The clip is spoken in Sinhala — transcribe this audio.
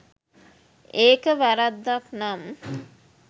ඒක වැරැද්දක් නම්